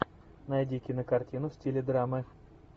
найди кинокартину в стиле драмы